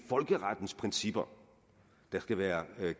folkerettens principper der skal være